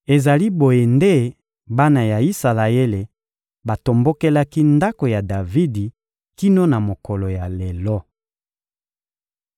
Ezali boye nde bana ya Isalaele batombokelaki ndako ya Davidi kino na mokolo ya lelo.